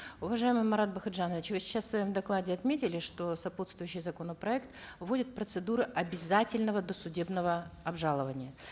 уважаемый марат бакытжанович вы сейчас в своем докладе отметили что сопутствующий законопроект вводит процедуру обязательного досудебного обжалования